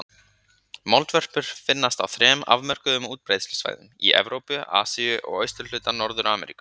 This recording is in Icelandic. Moldvörpur finnast á þrem afmörkuðum útbreiðslusvæðum: í Evrópu, Asíu og austurhluta Norður-Ameríku.